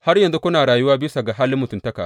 Har yanzu kuna rayuwa bisa ga halin mutuntaka.